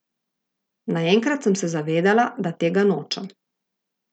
Naenkrat sem se zavedela, da tega nočem.